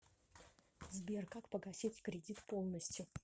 сбер как погасить кредит полностью